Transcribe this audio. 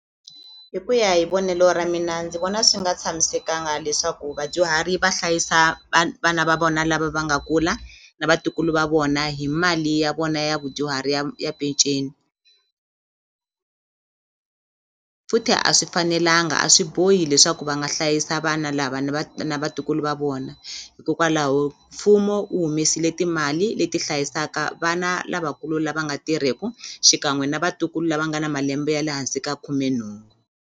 Hi ku ya hi vonelo ra mina ndzi vona swi nga tshamisekanga leswaku vadyuhari va hlayisa vana va vona lava va nga kula na vatukulu va vona hi mali ya vona ya vudyuhari ya ya peceni futhi a swi fanelanga a swi bohi leswaku va nga hlayisa vana lava ni va na vatukulu va vona hikokwalaho mfumo wu humesile timali leti hlayisaka vana lavakulu lava nga tirheku xikan'we na vatukulu lava nga na malembe ya le hansi ka khumenhungu.